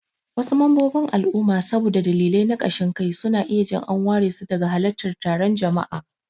Wasu mambobin al'umma saboda dalilai na kashin kai, suna iya jin an waresu daga halartar taron jama'a.